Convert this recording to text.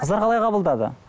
қыздар қалай қабылдады